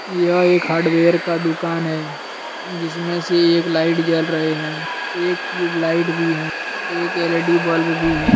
यह एक हार्डवेयर का दुकान है जिसमें से एक लाइट जल रहे हैं एक ट्यूबलाइट भी है एक एल_इ_डी बल्ब भी है।